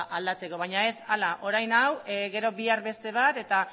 aldatzeko baina ez hala orain hau gero bihar beste bat eta